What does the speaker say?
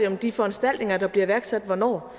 om de foranstaltninger der bliver iværksat hvornår